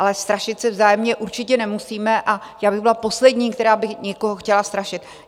Ale strašit se vzájemně určitě nemusíme a já bych byla poslední, která by někoho chtěla strašit.